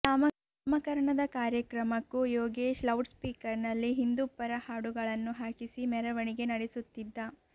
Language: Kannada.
ನಾಮಕರಣದ ಕಾರ್ಯಕ್ರಮಕ್ಕೂ ಯೋಗೇಶ್ ಲೌಡ್ ಸ್ಪೀಕರ್ನಲ್ಲಿ ಹಿಂದೂ ಪರ ಹಾಡುಗಳನ್ನು ಹಾಕಿಸಿ ಮೆರವಣಿಗೆ ನಡೆಸುತ್ತಿದ್ದ